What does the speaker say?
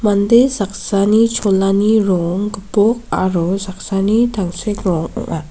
mande sakani cholani rong gipok aro saksani tangsek rong ong·a.